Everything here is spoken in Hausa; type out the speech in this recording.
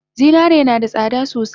Zinare nada tsada sosai